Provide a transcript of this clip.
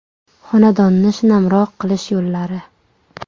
Xonadonni shinamroq qilish yo‘llari.